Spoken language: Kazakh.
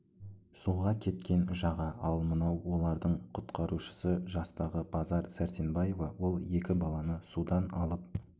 суға кеткен жаға ал мынау олардың құтқарушысы жастағы базар сәрсенбаева ол екі баланы судан алып